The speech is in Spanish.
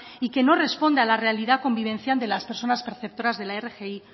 y que no responde a la realidad convivencial de las personas perceptoras de la rgi